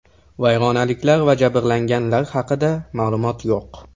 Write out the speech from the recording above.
Vayronaliklar va jabrlanganlar haqida ma’lumot yo‘q.